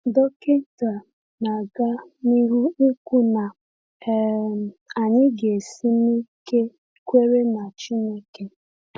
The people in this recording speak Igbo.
Dọkịta na-aga n’ihu ikwu na um anyị ga-esi n’ike kwere na Chineke.